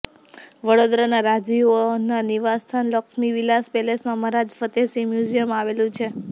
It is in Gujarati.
વડોદરાના રાજવીઓના નિવાસસ્થાન લક્ષ્મી વિલાસ પેલેસમાં મહારાજ ફતેહસિંહ મ્યુઝિયમ આવેલું છે